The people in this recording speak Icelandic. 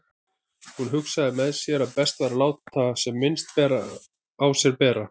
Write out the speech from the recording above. Hún hugsaði með sér að best væri að láta sem minnst á sér bera.